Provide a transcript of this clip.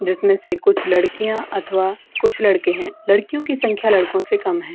जिसमें से कुछ लड़कियाँ अथवा कुछ लड़के हैं। लड़कियों की संख्या लड़कों से कम है।